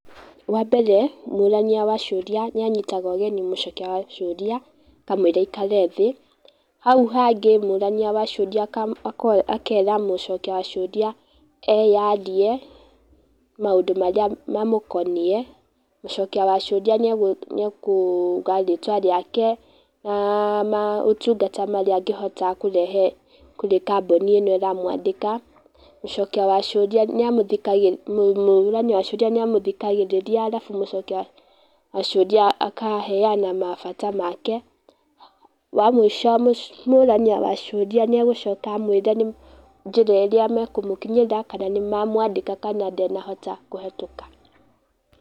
Wa mbere mũrania wa ciũria nĩ anyitaga ũgeni mũcokia wa ciũria, akamwĩra aikare thĩ, hau hangĩ mũrania wa ciũria akera mũcokia wa ciũria eyarie maũndũ marĩa mamũkoniĩ, mũcokia wa ciũria nĩ akuga rĩtwa rĩake, na maũtungata marĩa angĩhota kũrehe kũrĩ kambuni ĩno ĩramwandĩka. Mũcokia wa ciũria nĩ amũthikagĩrĩria. Mũrania wa ciũria nĩ amũthikagĩrĩria arabu mũcokia wa ciũria akaheana mabata make. Wa mũico mũrania wa ciũria nĩ agũcoka amwĩre njĩra ĩrĩa mekũmũkinyĩra, kana nĩ mamwandĩka kana ndanahota kũhĩtũka.